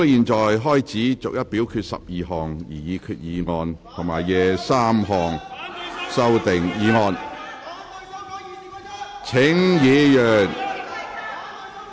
本會現在開始逐一表決12項擬議決議案及23項修訂議案。